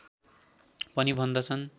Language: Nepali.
पनि भन्दछन्